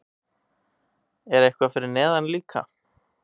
Er eitthvað fyrir neðan líka?